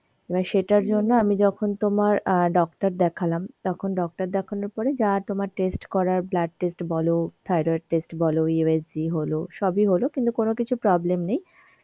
এবার সেটার জন্য আমি যখন তোমার অ্যাঁ doctor দেখালাম তখন doctor দেখানোর পরে যা তোমার test করার blood test বল thyroid test বল USGহল, সবই হল কিন্তু কোনো কিছু problem নেই